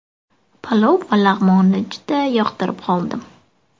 Palov va lag‘monni juda yoqtirib qoldim.